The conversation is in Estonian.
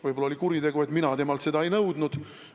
Võib-olla oli kuritegu, et mina temalt seda ei nõudnud.